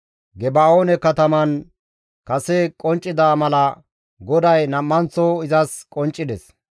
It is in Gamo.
Geba7oone kataman kase qonccida mala GODAY nam7anththo izas qonccides.